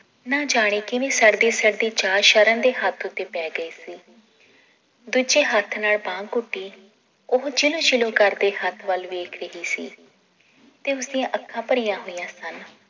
ਨਾ ਜਾਣੇ ਕਿਵੇਂ ਸੜਦੀ ਸੜਦੀ ਚਾਅ ਸ਼ਰਨ ਦੇ ਹੱਥ ਉੱਤੇ ਪੈ ਗਈ ਸੀ ਦੂਜੇ ਹੱਥ ਨਾਲ ਬਾਂਹ ਘੁੱਟੀ ਉਹ ਛਿਲੁ ਛਿਲੁ ਕਰਦੇ ਹੱਥ ਵੱਲ ਵੇਖ ਰਹੀ ਸੀ ਤੇ ਉਸ ਦੀਆਂ ਅੱਖਾਂ ਭਰੀਆਂ ਹੋਈਆਂ ਸਨ